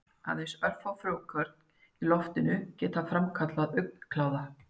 Aðeins örfá frjókorn í loftinu geta framkallað augnkláða.